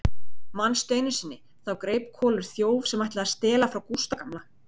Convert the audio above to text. Manstu einu sinni, þá greip Kolur þjóf sem ætlaði að stela frá Gústa gamla?